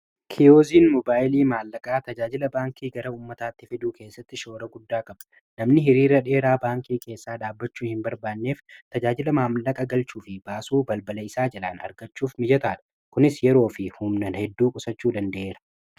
kiyooziin mobaayilii maallaqaa tajaajila baankii gara ummataatti fiduu keessatti shoora guddaa qaba namni hiriira dheeraa baankii keessaa dhaabbachuu hin barbaanneef tajaajila maallaqa galchuu fi baasuu balbala isaa jalaan argachuuf mijataa dha kunis yeroo fi humnan hedduu qusachuu danda'eera.